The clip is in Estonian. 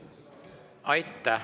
Aitäh!